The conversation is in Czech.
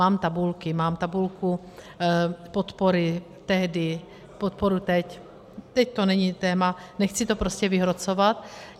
Mám tabulky, mám tabulku podpory tehdy, podpory teď - teď to není téma, nechci to prostě vyhrocovat.